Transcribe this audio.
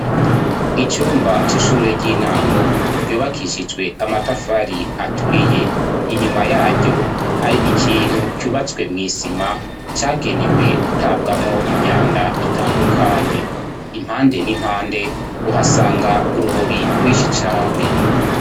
Icumba c'ishure ry'intango ryubakishijwe amatafari aturiye, inyuma yaryo hari ikintu cubatswe mw'isima, cagenewe gutabwamwo inyanda itandukanye. Impande n'impande uhasanga urubobi rwishi cane.